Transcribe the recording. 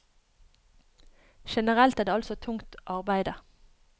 Generelt er det altså tungt arbeide.